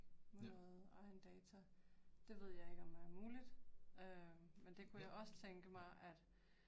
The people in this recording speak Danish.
Ja. Ja